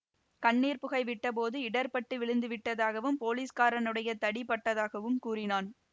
கண்ணீர் புகை விட்டபோது இடர்ப்பட்டு விழுந்து விட்டதாகவும் போலிஸ்காரனுடைய தடி பட்டதாகவும் கூறினான்